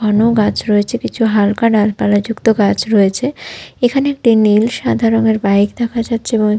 ঘন গাছ রয়েছে কিছু হালকা ডালপালা যুক্ত গাছ রয়েছে এখানে একটি নীল সাদা রঙের বাইক দেখা যাচ্ছে এবং--